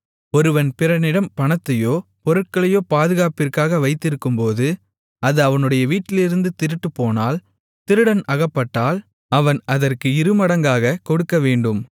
ஒருவன் பிறனிடம் பணத்தையோ பொருட்களையோ பாதுகாப்பிற்காக வைத்திருக்கும்போது அது அவனுடைய வீட்டிலிருந்து திருட்டுப்போனால் திருடன் அகப்பட்டால் அவன் அதற்கு இருமடங்காக கொடுக்கவேண்டும்